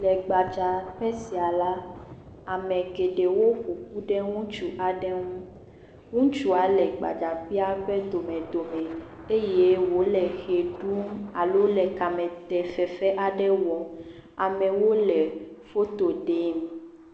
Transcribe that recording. Le gbadzaƒe sia la, ame geɖewo ƒoƒu ɖe ŋutsu aɖe ŋu. Ŋutsua le gbadaƒea ƒe domedome eye wole ʋe ɖum alo le kamete fefe aɖe wɔm. Amewo le foto ɖem.